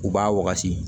U b'a wagati